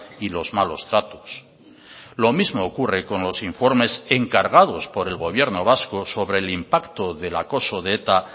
y los malos tratos lo mismo ocurre con los informes encargados por el gobierno vasco sobre el impacto del acoso de eta